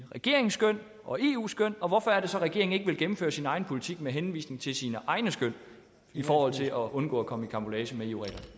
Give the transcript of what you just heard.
regeringens skøn og eus skøn og hvorfor er det så regeringen ikke vil gennemføre sin egen politik med henvisning til sine egne skøn i forhold til at undgå at komme i karambolage med